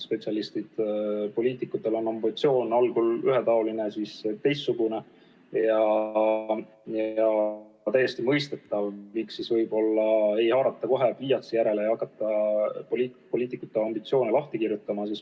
Poliitikutel on ambitsioon algul ühetaoline, siis teistsugune ja on täiesti mõistetav, miks ei haarata kohe pliiatsi järele ja ei hakata poliitikute ambitsioone lahti kirjutama.